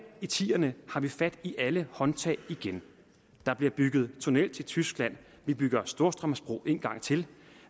i tierne har vi fat i alle håndtag igen der bliver bygget tunnel til tyskland vi bygger storstrømsbro en gang til